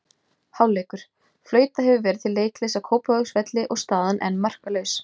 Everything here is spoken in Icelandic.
Hálfleikur: Flautað hefur verið til leikhlés á Kópavogsvelli og staðan enn markalaus.